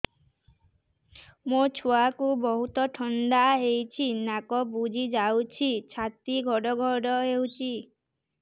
ମୋ ଛୁଆକୁ ବହୁତ ଥଣ୍ଡା ହେଇଚି ନାକ ବୁଜି ଯାଉଛି ଛାତି ଘଡ ଘଡ ହଉଚି